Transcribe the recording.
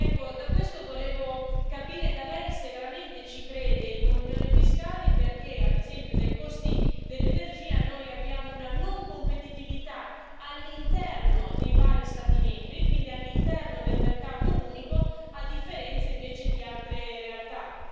Ecco, da questo volevo capire da Lei se veramente ci crede in un'unione fiscale e perché, ad esempio, dai costi dell'energia noi abbiamo una non competitività all'interno dei vari Stati membri, quindi all'interno del mercato unico, a differenza invece di altre realtà.